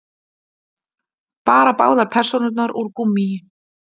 Bara báðar persónurnar úr gúmmíi.